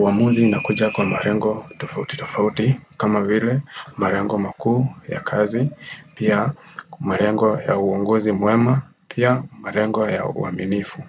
Uamuzi inakuja kwa malengo tofauti tofauti kama vile malengo makuu ya kazi. Pia malengo ya uongozi mwema. Pia marengo ya uaminifu.